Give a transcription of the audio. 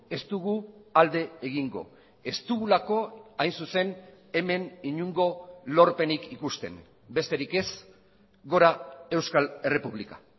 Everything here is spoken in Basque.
ez dugu alde egingo ez dugulako hain zuzen hemen inongo lorpenik ikusten besterik ez gora euskal errepublika